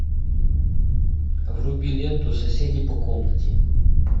вруби ленту соседи по комнате